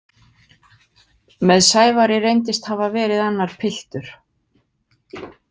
Með Sævari reyndist hafa verið annar piltur.